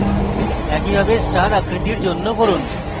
একইভাবে star আকৃতির জন্য করুন